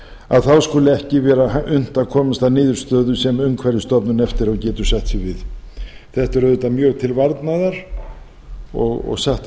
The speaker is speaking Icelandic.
að þá skuli ekki vera unnt að komast að niðurstöðu sem umhverfisstofnun eftir á getur sætt sig við þetta er auðvitað mjög til varnaðar og satt að segja